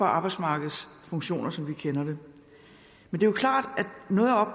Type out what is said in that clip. arbejdsmarkedets funktioner som vi kender dem men det er klart